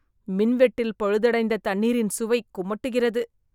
மின்வெட்டில் பழுதடைந்த தண்ணீரின் சுவை குமட்டுகிறது.